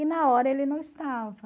E na hora ele não estava.